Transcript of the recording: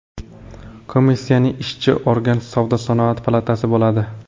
Komissiyaning ishchi organ Savdo-sanoat palatasi bo‘ladi.